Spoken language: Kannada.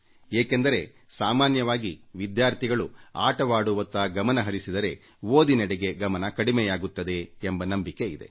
ಏಕೆಂದರೆ ಸಾಮಾನ್ಯವಾಗಿ ವಿದ್ಯಾರ್ಥಿಗಳು ಆಟದತ್ತ ಗಮನಹರಿಸಿದರೆ ಓದಿನೆಡೆಗೆ ಗಮನ ಕಡಿಮೆಯಾಗುತ್ತದೆ ಎಂಬ ನಂಬಿಕೆ ಇದೆ